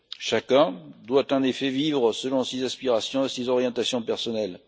Chacun doit, en effet, pouvoir vivre selon ses aspirations et ses orientations personnelles.